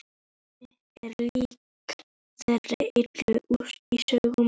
Ég er lík þeirri illu í sögunum.